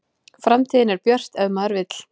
Framtíðin er björt ef maður vill